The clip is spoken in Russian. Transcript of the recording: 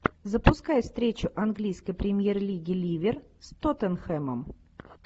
запускай встречу английской премьер лиги ливер с тоттенхэмом